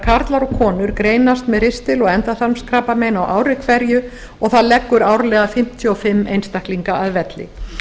karlar og konur greinast með ristil og endaþarmskrabbamein á ári hverju og það leggur árlega fimmtíu og fimm einstaklinga að velli